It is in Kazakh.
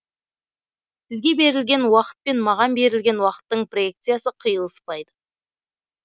сізге берілген уақыт пен маған берілген уақыттың проекциясы қиылыспайды